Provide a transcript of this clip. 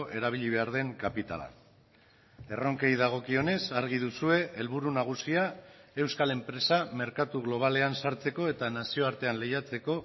erabili behar den kapitala erronkei dagokionez argi duzue helburu nagusia euskal enpresa merkatu globalean sartzeko eta nazioartean lehiatzeko